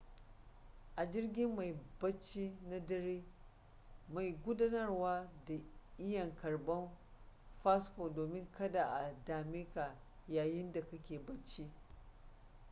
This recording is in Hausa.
a jirgin mai bacci na dare mai gudanarwa na iya karban fasfo domin kada a dameka yayinda kake bacci